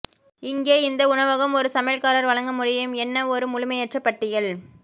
இங்கே இந்த உணவகம் ஒரு சமையல்காரர் வழங்க முடியும் என்ன ஒரு முழுமையற்ற பட்டியல்